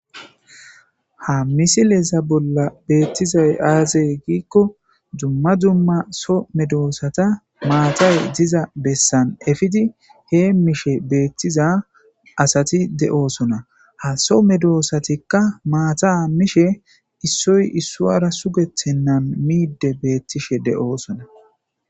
ha misileza bolla beettizay aaze giikko dumma dumma so medoosata maatay diza bessan efidi heemishe beettiza asati de'oosona ha so medoosatikka maata minshe issoy issuwara sugethennan miide beettishe de'oosona